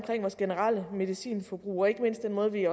vores generelle medicinforbrug og ikke mindst den måde vi